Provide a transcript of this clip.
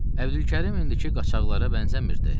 Əbdülkərim indiki qaçaqlara bənzəmirdi.